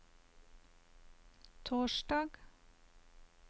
torsdag